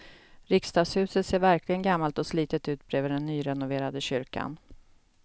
Riksdagshuset ser verkligen gammalt och slitet ut bredvid den nyrenoverade kyrkan.